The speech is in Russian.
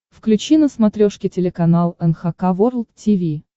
включи на смотрешке телеканал эн эйч кей волд ти ви